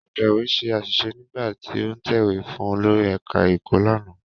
Atẹ̀wé ṣe àṣìṣe nígbà tí ó ń tẹ̀wé fún olórí ẹ̀ká ẹ̀kọ́ lánàá